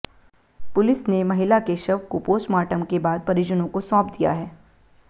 police ने महिला के शव को पोस्टमार्टम के बाद परिजनों को सौंप दिया है